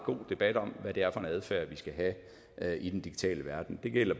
god debat om hvad det er for en adfærd vi skal have i den digitale verden det gælder